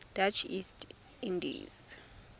dutch east indies